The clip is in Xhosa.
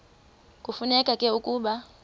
kufuneka ke ukuba